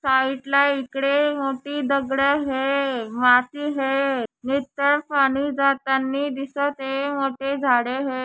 साईटला इकडे मोठी दगडे है माती है नितळ पाणी जातानी दिसत ये मोठे झाडे है.